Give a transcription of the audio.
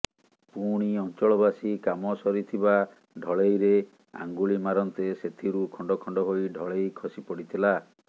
ପୁଣି ଅଂଚଳବାସୀ କାମ ସରିଥିବା ଢଳେଇରେ ଆଙ୍ଗୁଳି ମାରନ୍ତେ ସେଥିରୁ ଖଣ୍ଡଖଣ୍ଡ ହୋଇ ଢଳେଇ ଖସିପଡିଥିଲା